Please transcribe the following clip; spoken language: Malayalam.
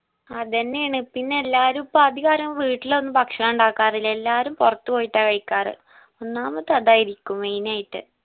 അതെന്നെ ആണ് പിന്നെ എല്ലാവരും ഇപ്പൊ അധികരും വീട്ടിലൊന്നും ഭക്ഷണം ഇണ്ടാക്കാറില്ല ഒന്നാമത് പൊറത്ത് പോയിട്ടാ കഴിക്കാർ ഒന്നാമത് അതായിരിക്കും main ആയിട്ട്